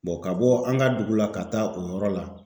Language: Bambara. ka bɔ an ka dugu la ka taa o yɔrɔ la